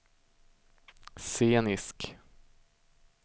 scenisk